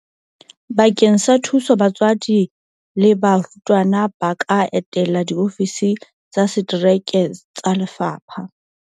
Bakeng sa thuso batswadi le barutwana ba ka etela diofisi tsa setereke tsa lefapha.